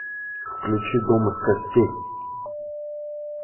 включи дом из костей